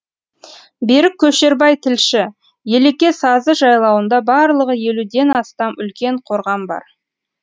берік көшербай тілші елеке сазы жайлауында барлығы елуден астам үлкен қорған бар